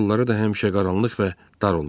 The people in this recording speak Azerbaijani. Yolları da həmişə qaranlıq və dar olur.